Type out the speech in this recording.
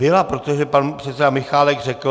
Byla, protože pan předseda Michálek řekl...